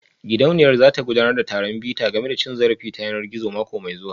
Gidauniyar za ta gudanar da taron bita game da cin zarafi ta yanar gizo mako mai zuwa